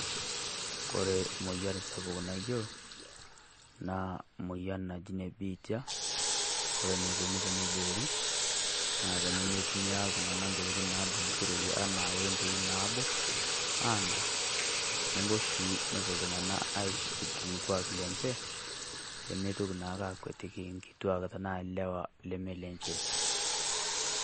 Kore moyiarr sapuk naiyelo naa moyian naji nebiitia, kore neikoni teneboori naa tene meitumia iltung'ana ntokitin nadunyishereki ana wembei nabo ang'arr teneboo sii nepoo iltung'ana aitibirr ilkwaak lenchee pee meitoki naake akwatiki nkitwaak tana leewa lemee lenchee.